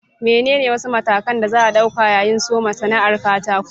Menene wasu matakan da za a ɗauka yayin soma sana'ar katako?